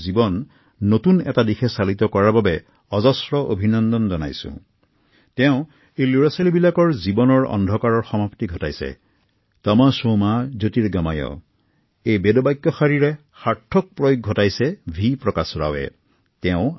অনেক শিশুৰ জীৱনৰ পৰা তেওঁ আন্ধাৰ নাশ কৰি জ্ঞানৰ পোহৰ বিলাইছে যিসকল শিশুই আনকি বৈদিক শ্লোক তমশো মা জ্যোতিৰ্গময়ঃৰ অৰ্থও বুজি পোৱা নাছিল